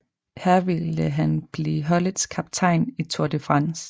Her ville han blive holdets kaptajn i Tour de France